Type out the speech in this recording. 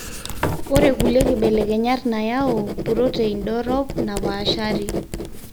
ore kulie kibelekenyat nayau purotein dorop napaashari.